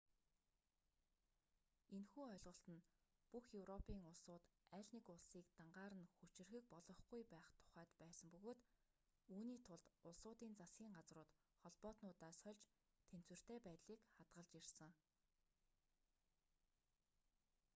энэхүү ойлголт нь бүх европын улсууд аль нэг улсыг дангаар нь хүчирхэг болгохгүй байх тухайд байсан бөгөөд үүний тулд улсуудын засгийн газрууд холбоотнуудаа сольж тэнцвэртэй байдлыг хадгалж ирсэн